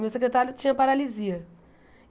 O meu secretário tinha paralisia.